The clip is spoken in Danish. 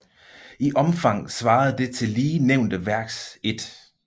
I Omfang svarende til det lige nævnte Værks 1